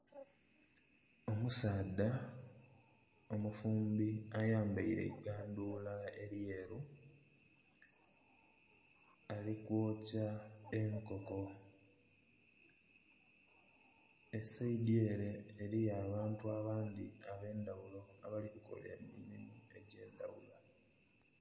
Omusaadha omufuumbi ayambaire eigandhula eryeeru alikwokya enkoko, esayidi ere eriyo abantu abandhi abendhaghulo abali kukola emirimo egyendhaghulo.